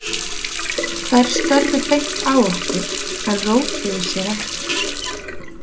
Þær störðu beint á okkur en rótuðu sér ekki.